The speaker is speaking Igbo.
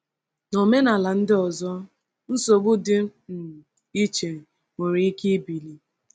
N’omenala ndị ọzọ, nsogbu dị um iche nwere ike ibili.